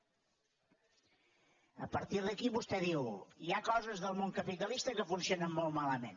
a partir d’aquí vostè diu hi ha coses del món capitalista que funcionen molt malament